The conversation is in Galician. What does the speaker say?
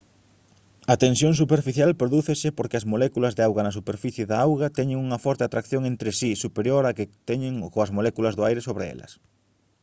a tensión superficial prodúcese porque as moléculas de auga na superficie da auga teñen unha forte atracción entre si superior á que teñen coas moléculas do aire sobre elas